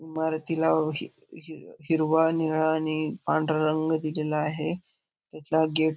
मारुतीला ही ही ही हिरवा नीळा आणि पांढरा रंग दिल आहे त्याला गेट --